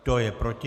Kdo je proti?